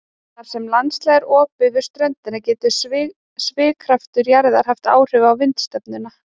Þar sem landslag er opið við ströndina getur svigkraftur jarðar haft áhrif á vindstefnuna.